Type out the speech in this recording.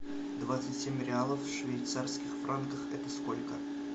двадцать семь реалов в швейцарских франках это сколько